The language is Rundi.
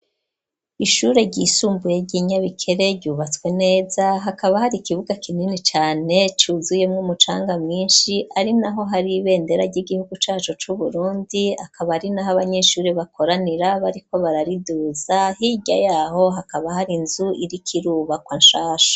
Ishure ry'isumbuye ryi Nyabikere ryubatswe neza hakaba hari ikibuga kinini cane cuzuyemwo umucanga mwishi ari naho hari ibendera ry'igihugu cacu cu Burundi akaba ari naho abanyeshuri bakoranira bariko barariduza hirya yaho hakaba hari inzu iriko irubakwa nshansha.